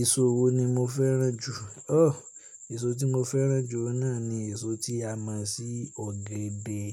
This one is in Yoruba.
Èso wo ni mo fẹ́ràn jù? Ọ, èso tí mo fẹ́ràn jù òun náà ni èso tí a mọ̀ sí ọ̀gẹ̀dẹ̀.